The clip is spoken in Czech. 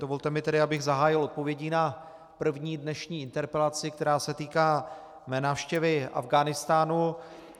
Dovolte mi tedy, abych zahájil odpovědí na první dnešní interpelaci, která se týká mé návštěvy Afghánistánu.